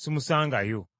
simusangayo.